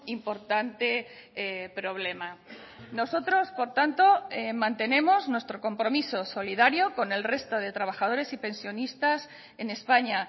importante problema nosotros por tanto mantenemos nuestro compromiso solidario con el resto de trabajadores y pensionistas en españa